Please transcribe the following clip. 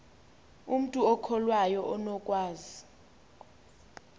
umntu okholwayo unokwazi